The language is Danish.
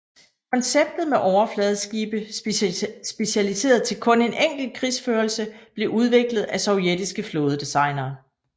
Konceptet med overfladeskibe specialiseret til kun en enkelt krigsførelse blev udviklet af sovjetiske flådedesignere